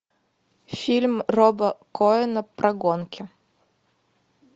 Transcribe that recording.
фильм роба коэна про гонки